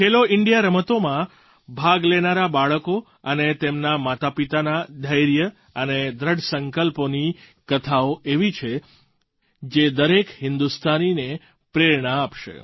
ખેલો India રમતોમાં ભાગ લેનારાં બાળકો અને તેમનાં માતાપિતાના ધૈર્ય અને દૃઢ સંકલ્પોની કથાઓ એવી છે જે દરેક હિન્દુસ્તાનીને પ્રેરણા આપશે